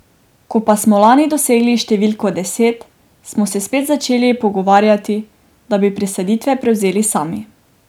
Ko pa smo lani dosegli številko deset, smo se spet začeli pogovarjati, da bi presaditve prevzeli sami.